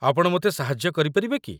ଆପଣ ମୋତେ ସାହାଯ୍ୟ କରିପାରିବେ କି?